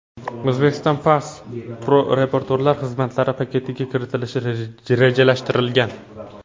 Uzbekistan Pass turoperatorlar xizmatlari paketiga kiritilishi rejalashtirilgan.